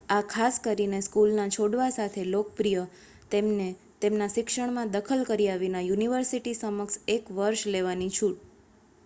આ ખાસ કરીને સ્કૂલના છોડવા સાથે લોકપ્રિય તેમને તેમના શિક્ષણમાં દખલ કર્યા વિના યુનિવર્સિટી સમક્ષ એક વર્ષ લેવાની છૂટ